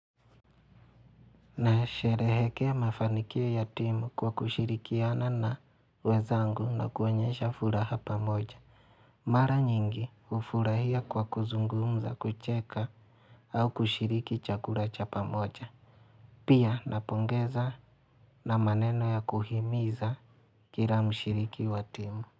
Nasherehekea mafanikio ya timu kwa kushirikiana na wezangu na kuonyesha furaha pamoja. Mara nyingi hufurahia kwa kuzungumza kucheka au kushiriki chakula cha pamoja. Pia napongeza na maneno ya kuhimiza kila mshiriki wa timu.